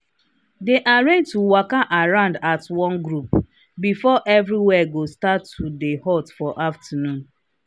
they arrange to waka around as one group before everywhere go start to hot for afternoon.